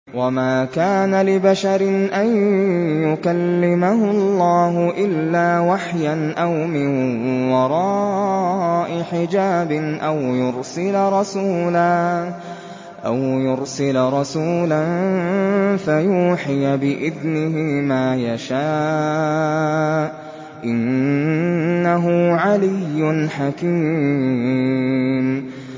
۞ وَمَا كَانَ لِبَشَرٍ أَن يُكَلِّمَهُ اللَّهُ إِلَّا وَحْيًا أَوْ مِن وَرَاءِ حِجَابٍ أَوْ يُرْسِلَ رَسُولًا فَيُوحِيَ بِإِذْنِهِ مَا يَشَاءُ ۚ إِنَّهُ عَلِيٌّ حَكِيمٌ